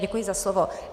Děkuji za slovo.